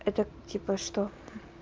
это типа что